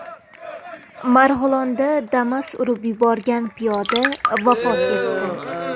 Marg‘ilonda Damas urib yuborgan piyoda vafot etdi.